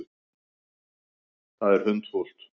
Það er hundfúlt.